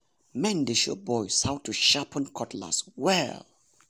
men dey show boys how to sharpen cutlass well.